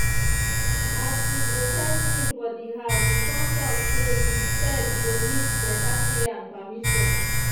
as we dey set rule for di house we con talk say di pet go need better care and permission.